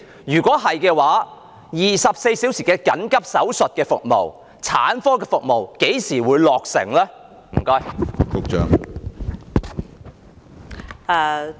如是，當局會何時落實24小時緊急手術服務及產科服務呢？